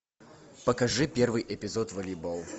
покажи первый эпизод волейбол